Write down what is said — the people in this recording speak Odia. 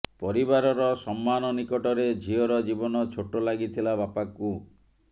ପରିବାରର ସମ୍ମାନ ନିକଟରେ ଝିଅର ଜୀବନ ଛୋଟ ଲାଗିଥିଲା ବାପାଙ୍କୁ